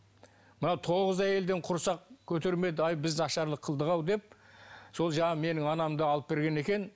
мынау тоғыз әйелден құрсақ көтермеді ай біз нашарлық қылдық ау деп сол жаңағы менің анамды алып берген екен